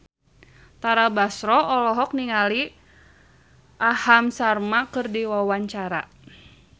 Tara Basro olohok ningali Aham Sharma keur diwawancara